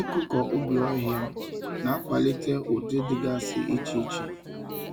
Ịkụkọ ubi ọhịa na-akwalite ụdị dịgasị iche iche